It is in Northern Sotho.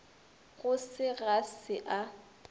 go se ga se a